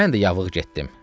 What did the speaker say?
Mən də yavığı getdim.